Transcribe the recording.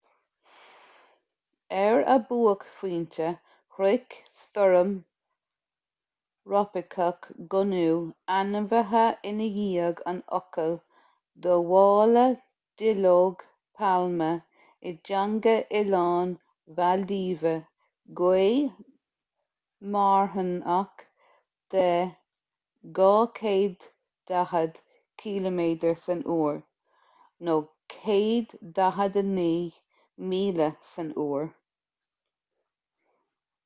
ar a buaicphointe shroich stoirm thrópaiceach gonu ainmnithe i ndiaidh an fhocail do mhála duilleog pailme i dteanga oileáin mhaildíve gaoth mharthanach de 240 ciliméadar san uair 149 míle san uair